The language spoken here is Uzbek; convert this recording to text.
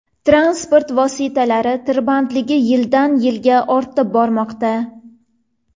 Transport vositalari tirbandligi yildan-yilga ortib bormoqda.